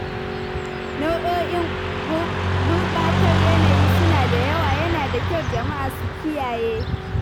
Nau'o'in gurɓatar yanayi suna da yawa, yana da kyau jama'a su kiyaye.